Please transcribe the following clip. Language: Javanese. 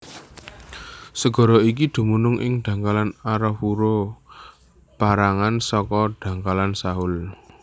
Segara iki dumunung ing dhangkalan Arafura pérangan saka dhangkalan Sahul